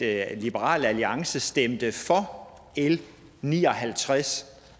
at liberal alliance stemte for l ni og halvtreds